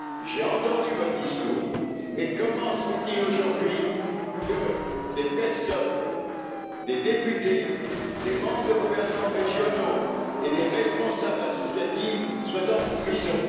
J'ai entendu votre discours, mais comment se fait il aujourd'hui que des personnes, des députés, des membres de gouvernements régionaux et des responsables associatifs, soient en prison?